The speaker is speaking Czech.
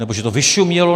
Nebo že to vyšumělo?